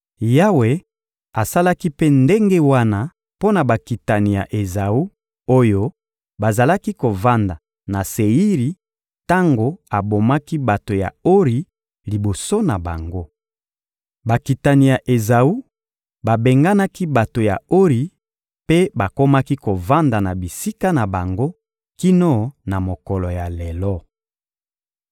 Yawe asalaki mpe ndenge wana mpo na bakitani ya Ezawu oyo bazalaki kovanda na Seiri tango abomaki bato ya Ori liboso na bango. Bakitani ya Ezawu babenganaki bato ya Ori mpe bakomaki kovanda na bisika na bango kino na mokolo ya lelo.